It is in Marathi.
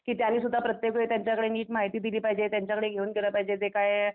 की त्यांनी सुद्धा प्रत्येकवेळेस त्यांच्याकडे नीट माहिती दिली पाहिजे त्यांच्याकडे घेऊन गेलं पाहिजेते काय